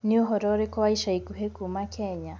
ni ũhoro ũrĩkũ wa ĩca ĩkũhĩ kũma kenya